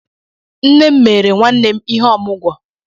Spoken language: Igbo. Nné m mere nnwannem ihe ọmụgwọ